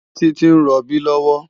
Titi n ròbí lòwò